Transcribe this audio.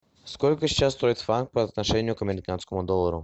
сколько сейчас стоит франк по отношению к американскому доллару